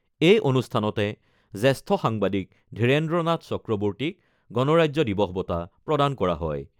এই অনুষ্ঠানতে জ্যেষ্ঠ সাংবাদিক ধীৰেন্দ্ৰ নাথ চক্ৰৱৰ্তীক গণৰাজ্য দিৱস বঁটা প্ৰদান কৰা হয়।